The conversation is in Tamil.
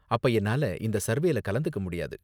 அப்ப என்னால இந்த சர்வேல கலந்துக்க முடியாது.